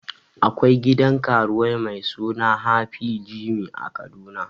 Akwai gidan karuwai mai suna happy jimmy a kaduna